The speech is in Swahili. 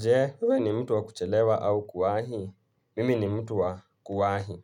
Je, wewe ni mtu wa kuchelewa au kuwahi? Mimi ni mtu wa kuwahi.